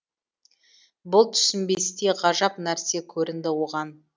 бұл түсінбестей ғажап нәрсе көрінді оған